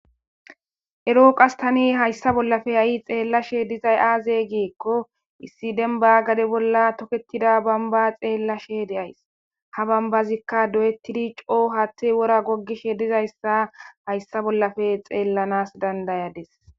erooqas tani hayssa bollafe ha7i xeellashe dizay aaze geekko issi denba gade bolla toketida bamba xeellashe deays ha bambazikka doyettidi coo hatte wora goggishe dizayssa hayssa bollafe xeellanas dandayades